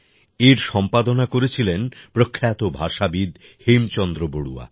এর সম্পাদনা করেছিলেন প্রখ্যাত ভাষাবিদ হেমচন্দ্র বড়ুয়া